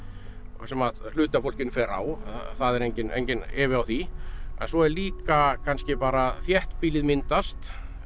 sem hluti af fólkinu fer á það er enginn enginn efi á því en svo líka kannski bara þéttbýlið myndast